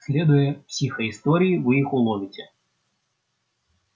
следуя психоистории вы их уловите